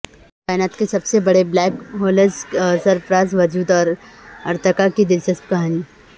کائنات کے سب سے بڑے بلیک ہولز کے پراسرار وجود اور ارتقا کی دلچسپ کہانی